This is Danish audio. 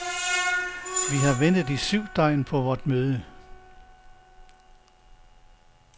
Vi har ventet i syv døgn på vort møde.